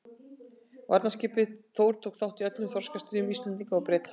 Varðskipið Þór tók þátt í öllum þorskastríðum Íslendinga og Breta.